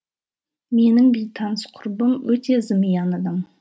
менің бейтаныс құрбым өте зымиян адам